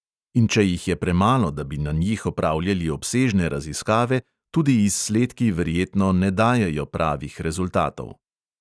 In če jih je premalo, da bi na njih opravljali obsežne raziskave, tudi izsledki verjetno ne dajejo pravih rezultatov.